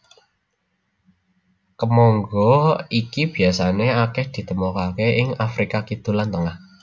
Kemangga iki biasané akèh ditemokaké ing Afrika Kidul lan Tengah